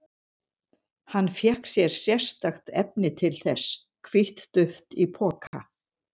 Hann fékk sér sérstakt efni til þess, hvítt duft í poka.